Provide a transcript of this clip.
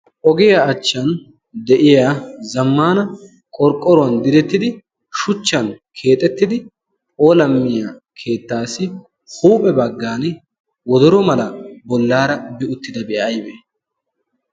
Ogiya achchan de'iya zammana qorqqoruwan direttidi shuchchan keexxettidi phoolammiyaa keettassi huuphe baggan wodoro mala bollara bi uttidabi aybbe?